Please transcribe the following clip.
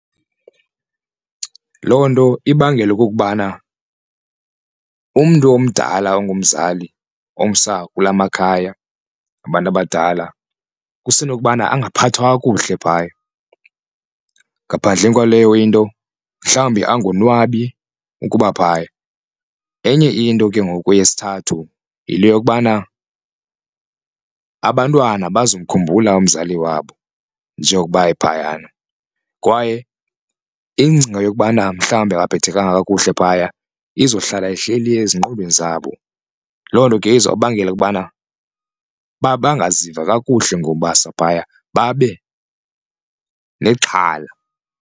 Loo nto ibangela okukubana umntu omdala ongumzali omsa kula makhaya abantu abadala kusenokuba angaphathwa kakuhle phaya babo ngaphandleni kwaleyo into mhlawumbi angonwabi kukuba phaya. Enye into ke ngoku eyesithathu yile yokubana abantwana bazokhumbula umzali wabo njengokuba ephayana, kwaye ingcinga yokubana mhlawumbi akaphathekanga kakuhle phaya izohlala ihleli ezingqondweni zabo loo nto ke izobangela ukubana bangaziva kakuhle ngokubasa phaya babe nexhala.